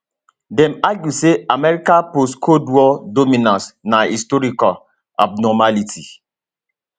dem argue say america postcold war dominance na historical abnormality